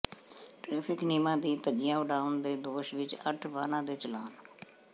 traffic ਨਿਯਮਾਂ ਦੀ ਧੱਜੀਆਂ ਉਡਾਉਣ ਦੇ ਦੋਸ਼ ਵਿੱਚ ਅੱਠ ਵਾਹਨਾਂ ਦੇ ਚਲਾਨ